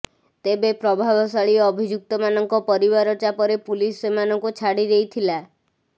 ତେବେ ପ୍ରଭାବଶାଳୀ ଅଭିଯୁକ୍ତମାନଙ୍କ ପରିବାର ଚାପରେ ପୁଲିସ ସେମାନଙ୍କୁ ଛାଡ଼ିଦେଇଥିଲା